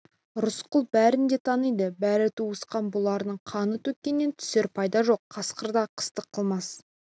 рысқұл бәрін де таниды бәрі туысқан бұлардың қанын төккеннен түсер пайда жоқ қасқыр да қастық қылмас